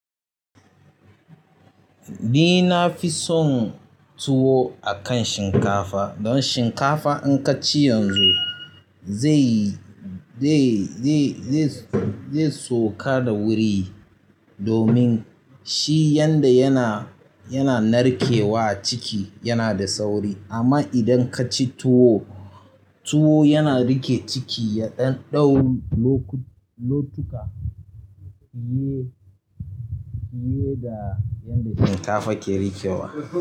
Ni na fi son tuwo akan shinkafa don shinkafa in ka ci yanzu zai, zai, zai, zai, zai sauka da wuri domin shi yanda yana, yana narkewa ciki yana da sauri. Amma idan kaci tuwo, tuwo yana riƙe ciki ya ɗan ɗau lokuta fiye da yadda shinkafan ke riƙewa.